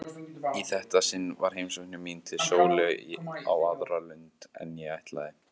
Í þetta sinn var heimsókn mín til Sólu á aðra lund en ég ætlaði.